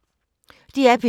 DR P2